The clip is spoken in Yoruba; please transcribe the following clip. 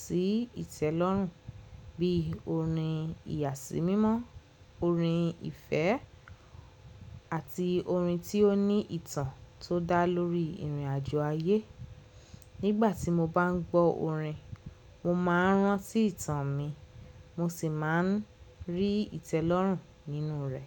sí ìtẹ́lọ́rùn bíi orin ìyàsímímọ́, orin ìfẹ́, àti orin tí ó ní ìtàn tó dá lórí ìrìnàjò ayé. Nígbà tí mo bá ń gbọ́ orin, mo máa ń rán sí ìtàn mi, mo sì máa ń rí ìtẹ́lọ́rùn nínú rẹ̀.